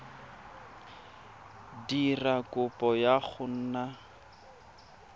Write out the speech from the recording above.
dira kopo ya go nna